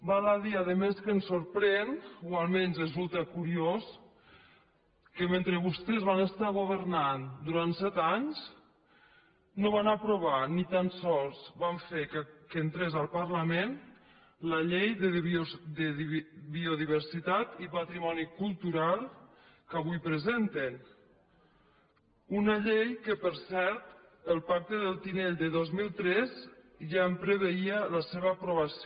val a dir a més que ens sorprèn o almenys resulta curiós que mentre vostès van estar governant durant set anys no van aprovar ni tan sols van fer que entrés al parlament la llei de biodiversitat i patrimoni cultural que avui presenten una llei que per cert el pacte del tinell de dos mil tres ja en preveia l’aprovació